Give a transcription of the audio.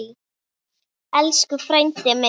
Elsku frændi minn.